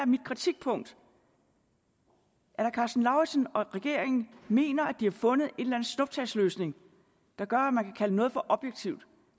mit kritikpunkt herre karsten lauritzen og regeringen mener at de har fundet en snuptagsløsning der gør at man kan kalde noget for objektivt